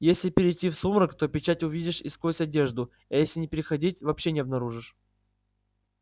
если перейти в сумрак то печать увидишь и сквозь одежду а если не переходить вообще не обнаружишь